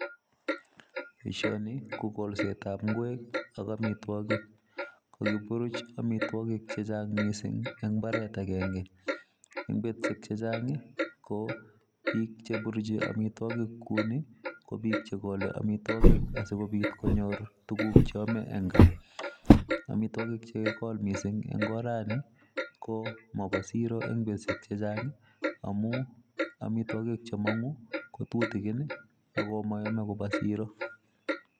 Boishoni ko kolsetab ingwek ak amitwogiik, kokiburuch amitwogiik chechang missing en imbaaret agenge. En betusiek chechang I ko biik cheburuchi amitwogiik kounii ko biik chekole amitwogiik asikobiit konyoor tuguuk cheome en gaa. Amitwogik che kakikol missing en oranii, ko moboo siro en betusiek chechang i amun amitwogiik chemonguu ko tutigiin ak moyome kobwa siro.